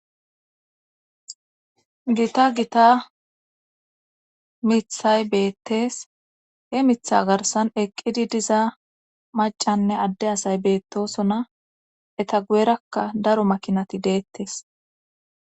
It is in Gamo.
gita gita mithay beettes he mitha garsan eqqidi diza macanne adde asay beettosona eta guerakka daro makinati deettes